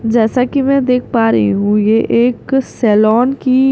जैसा कि मैं देख पा रही हूं ये एक सैलॉन की--